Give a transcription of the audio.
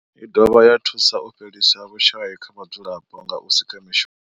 I dovha ya thusa u fhelisa vhushayi kha vhadzulapo nga u sika mishumo.